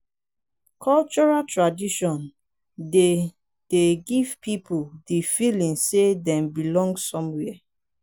cultural traditon dey dey give pipo di feeling sey dem belong somewhere